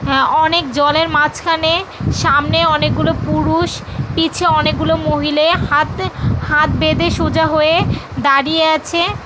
অনেক জলের মাঝখানে সামনে অনেকগুলো পুরুষ পিছে অনেকগুলো মহিলা হাতে হাত বেঁধে সোজা হয়ে দাঁড়িয়ে আছে ।